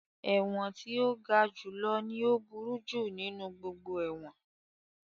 Ẹ̀wọ̀n tí ó ga jù lọ ní ó burú jù nínú gbogbo ẹ̀wọ̀n